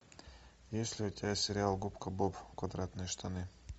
есть ли у тебя сериал губка боб квадратные штаны